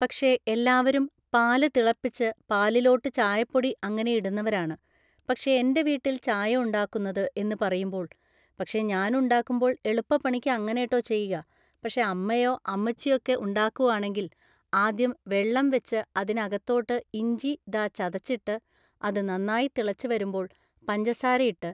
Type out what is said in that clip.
പക്ഷേ എല്ലാവരും പാല് തിളപ്പിച്ച്‌ പാലിലോട്ട് ചായപ്പൊടി അങ്ങനെ ഇടുന്നവരാണ് പക്ഷേ എൻ്റെ വീട്ടില് ചായ ഉണ്ടാക്കുന്നത്‌ എന്ന് പറയുമ്പോൾ പക്ഷേ ഞാൻ ഉണ്ടാക്കുമ്പോൾ എളുപ്പ പണിക്ക് അങ്ങനെട്ടോ ചെയ്യുക പക്ഷേ അമ്മയോ അമ്മച്ചിയക്കെ ഉണ്ടാക്കുവാണെങ്കിൽ ആദ്യം വെള്ളം വെച്ച് അതിനകത്തോട്ട് ഇഞ്ചി ദ ചതച്ചിട്ട് അത് നന്നായി തിളച്ച്‌ വരുമ്പോൾ പഞ്ചസാര ഇട്ട്